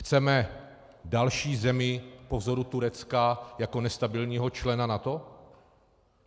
Chceme další zemi po vzoru Turecka jako nestabilního člena NATO?